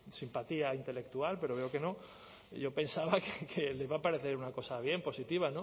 simpatía intelectual pero veo que no y yo pensaba que le iba a parecer una cosa bien positiva